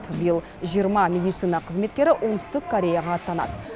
биыл жиырма медицина қызметкері оңтүстік кореяға аттанады